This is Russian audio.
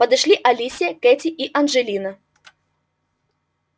подошли алисия кэти и анджелина